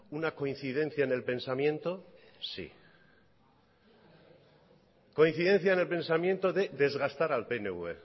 una coincidencia en el pensamiento sí coincidencia en el pensamiento de desgastar al pnv